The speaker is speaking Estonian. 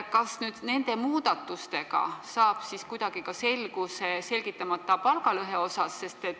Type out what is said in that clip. Kas nende muudatustega saab kuidagi ka selguse selgitamata palgalõhe asjus?